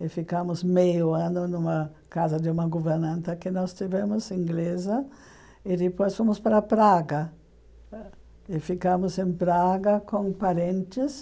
e ficamos meio ano numa casa de uma governanta que nós tivemos inglesa e depois fomos para Praga e ficamos em Praga com parentes